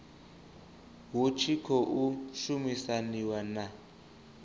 hu tshi khou shumisaniwa na